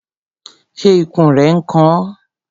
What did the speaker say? Ṣé ikùn rẹ n kan ọ?